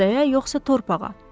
Adaya yoxsa torpağa.